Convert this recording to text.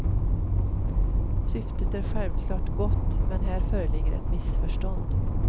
Syftet är självklart gott, men här föreligger ett missförstånd.